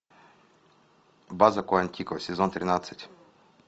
база куантико сезон тринадцать